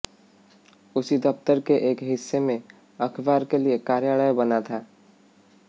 उसी दफ्तर के एक हिस्से में अखबार के लिए कार्यालय बना था